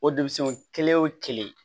O denmisɛnw kelen o kelen